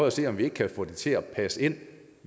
at se om vi ikke kan få det til at passe ind